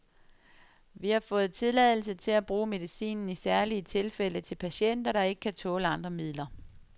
Vi har fået tilladelse til at bruge medicinen i særlige tilfælde til patienter, der ikke kan tåle andre midler.